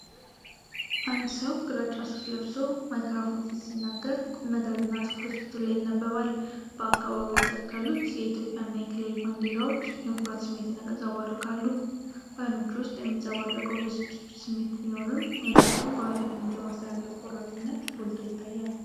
አንድ ሰው ግራጫ ሱፍ ለብሶ ማይክሮፎን ፊት ሲናገር ቁምነገር እና ትኩረት ፊቱ ላይ ይነበባል:: በአካባቢው የተሰቀሉት የኢትዮጵያና የክልል ባንዲራዎች የኩራት ስሜትን ያንጸባርቃሉ:: በዓይኖቹ ውስጥ የሚንጸባረቀው የብስጭት ስሜት ቢኖርም፤ መልእክቱን በኃላፊነት የማስተላለፍ ቆራጥነት ጎልቶ ይታያል::